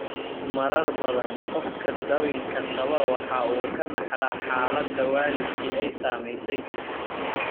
Marar badan, qofka dabinka qaba waxa uu ka dhaxlaa xaaladda waalidkii ay saamaysay.